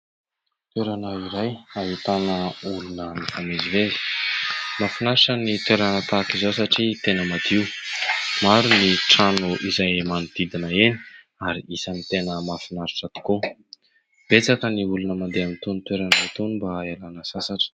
Toerana iray ahitana olona mifamezivezy. Mahafinaritra ny toerana tahaka izao satria tena madio. Maro ny trano izay manodidina eny ary isan'ny tena mahafinaritra tokoa. Betsaka ny olona mandeha amin'itony toerana itony mba hialana sasatra.